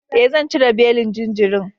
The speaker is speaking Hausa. E, zan cire belin jinjirin.